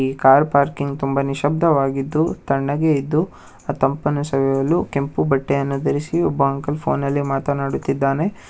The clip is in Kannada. ಈ ಕಾರ್ ಪಾರ್ಕಿಂಗ್ ತುಂಬಾನೇ ನಿಶಬ್ದವಾಗಿದ್ದು ತಣ್ಣಗೆ ಇದ್ದುಅ ತಂಪಾನು ಸವಿಯಲು ಕೆಂಪು ಬಟ್ಟೆಯನ್ನು ಧರಿಸಿ ಒಬ್ಬ ಅಂಕಲ್ ಫೋನಲ್ಲಿ ಮಾತನಾಡುತ್ತಿದ್ದಾನೆ.